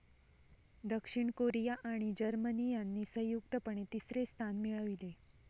दक्षिण कोरिया आणि जर्मनी यांनी संयुक्तपणे तिसरे स्थान मिळविले.